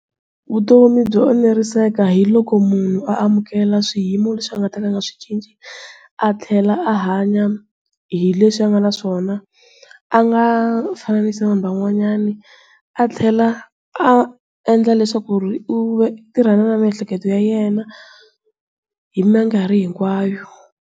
Vutomi byo eneriseka hi loko munhu amukela swiyimo leswi a nga ta ka a nga swi cinci. A tlhela a hanya, hi leswi a nga na swona, a nga fananisi na vanhu van'wanyani. A tlhela a endla leswaku ri u tirhana na miehleketo ya yena, hi minkarhi hinkwayo.